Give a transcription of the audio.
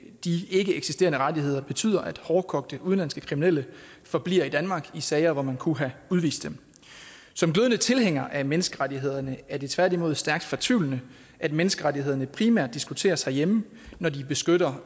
de ikkeeksisterende rettigheder betyder at hårdkogte udenlandske kriminelle forbliver i danmark i sager hvor man kunne have udvist dem som glødende tilhænger af menneskerettighederne er det tværtimod stærkt fortvivlende at menneskerettighederne primært diskuteres herhjemme når de beskytter